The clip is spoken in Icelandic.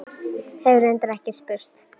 Hef reyndar ekki spurt.